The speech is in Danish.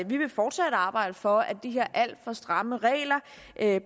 vi vil fortsat arbejde for at de her alt for stramme regler